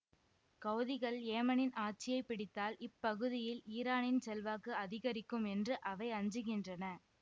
கௌதிகள் ஏமனின் ஆட்சியை பிடித்தால் இப்பகுதியில் ஈரானின் செல்வாக்கு அதிகரிக்கும் என்று அவை அஞ்சுகின்றன